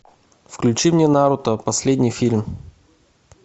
включи мне наруто последний фильм